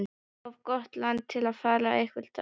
Of gott land til að fara eitthvað annað.